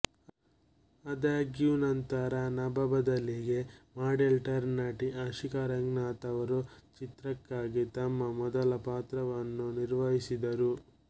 ಆದಾಗ್ಯೂ ನಂತರ ನಭಾ ಬದಲಿಗೆ ಮಾಡೆಲ್ ಟರ್ನ್ ನಟಿ ಆಶಿಕಾ ರಂಗನಾಥ್ ಅವರು ಚಿತ್ರಕ್ಕಾಗಿ ತಮ್ಮ ಮೊದಲ ಪಾತ್ರವನ್ನು ನಿರ್ವಹಿಸಿದರು